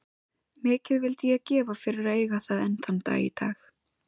Mikið vildi ég gefa fyrir að eiga það enn þann dag í dag.